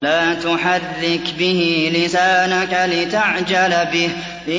لَا تُحَرِّكْ بِهِ لِسَانَكَ لِتَعْجَلَ بِهِ